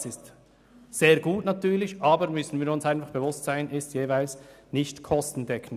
Das ist einerseits gut, aber andererseits ist es grundsätzlich nicht kostendeckend.